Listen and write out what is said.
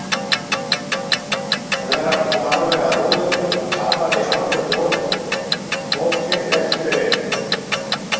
Veran kom alveg að rúðunni og talaði í hálfum hljóðum: Tóti, hleyptu mér inn.